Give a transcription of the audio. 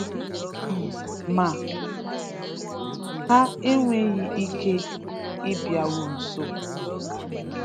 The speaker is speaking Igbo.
um Ma um ha enweghị ike ịbịaru nso.